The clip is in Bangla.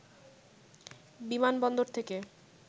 বিমানবন্দর থেকে